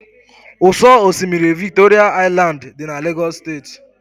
Ụ́sọ̀ osimiri Victoria Island dị na Lagos State.